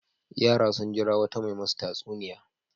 Yara sun jira wata mai masu tatsuniya.